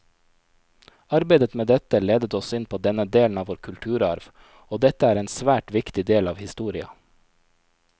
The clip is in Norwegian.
Arbeidet med dette ledet oss inn på denne delen av vår kulturarv, og dette er en svært viktig del av historia.